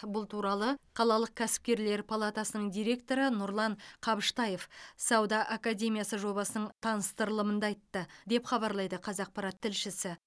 бұл туралы қалалық кәсіпкерлер палатасының директоры нұрлан қабыштаев сауда академиясы жобасының таныстырылымында айтты деп хабарлайды қазақпарат тілшісі